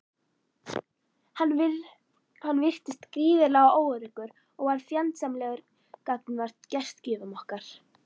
Hann virtist gríðarlega óöruggur og varð fjandsamlegur gagnvart gestgjöfum okkar.